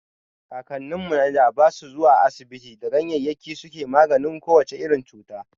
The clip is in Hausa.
Kakannin mu na da ba su zuwa asibiti da ganyayyaki suke maganin ko wace irin cuta.